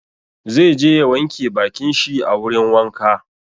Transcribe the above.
Zai je ya wanke bakin shi a wurin wanka.